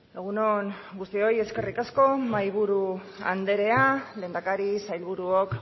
egun on guztioi eskerrik asko mahaiburu anderea lehendakari sailburuok